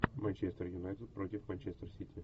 манчестер юнайтед против манчестер сити